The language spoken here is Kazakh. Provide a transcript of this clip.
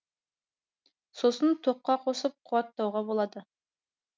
сосын тоққа қосып қуаттауға болады